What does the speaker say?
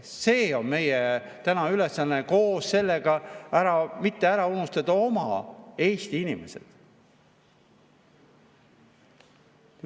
See on meie tänane ülesanne ja koos sellega ei tohi ära unustada Eesti inimesi.